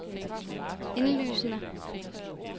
indlysende